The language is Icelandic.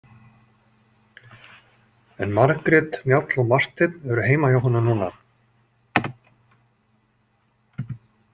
En Margrét, Njáll og Marteinn eru heima hjá honum núna.